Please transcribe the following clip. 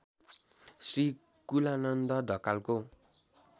श्री कुलानन्द ढकालको